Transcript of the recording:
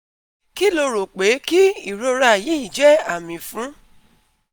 Kí lo rò pé kí ìrora yìí jẹ́ àmì fún?